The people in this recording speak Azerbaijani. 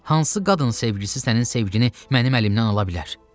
Hansı qadın sevgisi sənin sevgini mənim əlimdən ala bilər?